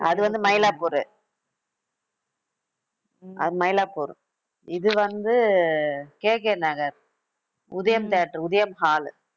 அது வந்து, மயிலாப்பூர். அது, மயிலாப்பூர். இது வந்து, KK Nagar. Udhayam theater Udhayam hall